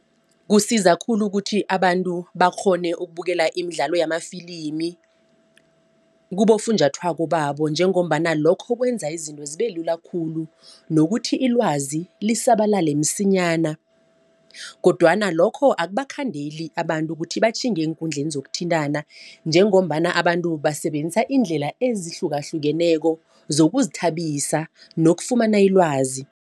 Kusiza khulu ukuthi abantu bakghone ukubukela imidlalo yamafilimi kubofunjathwako babo njengombana lokho kwenza izinto zibe lula khulu nokuthi ilwazi lisabalale msinyana. Kodwana lokho akubakhandeli abantu kuthi batjhinge eenkundleni zokuthintana. Njengombana abantu basebenzisa iindlela ezihlukahlukeneko zokuzithabisa nokufumana ilwazi.